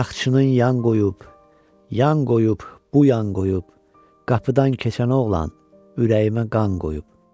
Araqçının yan qoyub, yan qoyub, bu yan qoyub, qapıdan keçən oğlan ürəyimə qan qoyub.